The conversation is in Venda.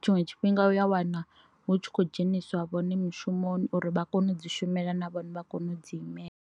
tshiṅwe tshifhinga u ya wana hu tshi kho dzheniswa vhone mishumoni uri vha kone u dzi shumela na vhone vha kone u dzi imela.